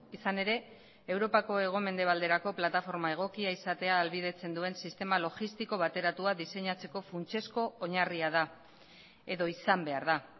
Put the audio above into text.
izan ere europako hego mendebalderako plataforma egokia izatea ahalbidetzen duen sistema logistiko bateratua diseinatzeko funtsezko oinarria da edo izan behar da